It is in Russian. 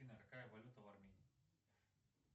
афина какая валюта в армении